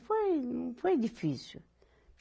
Foi, não foi difícil.